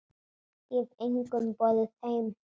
Ég hef engum boðið heim.